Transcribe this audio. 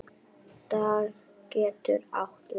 Dag getur átt við